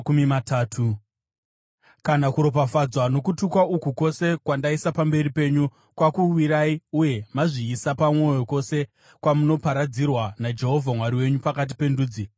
Kana kuropafadzwa nokutukwa uku kwose kwandaisa pamberi penyu kwakuwirai uye mazviisa pamwoyo kwose kwamunoparadzirwa naJehovha Mwari wenyu pakati pendudzi,